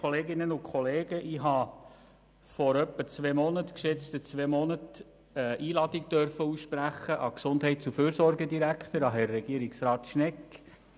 Ich habe vor etwa zwei Monaten eine Einladung ausgesprochen an den Gesundheits- und Fürsorgedirektor, Herrn Regierungsrat Schnegg.